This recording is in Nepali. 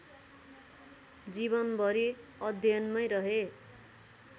जीवनभरि अध्ययनमै रहे